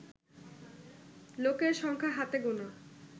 লোকের সংখ্যা হাতে গোনা